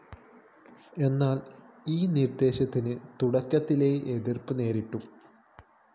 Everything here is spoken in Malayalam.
എന്നാല്‍ ഈ നിര്‍ദ്ദേശത്തിന് തുടക്കത്തിലേ എതിര്‍പ്പ് നേരിട്ടു